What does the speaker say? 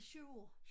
I 7 år